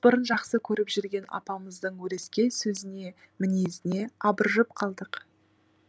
бұрын жақсы көріп жүрген апамыздың өрескел сөзіне мінезіне абыржып қалдық